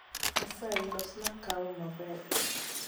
Asayi losna kawa maber